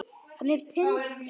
Hann er Tindur.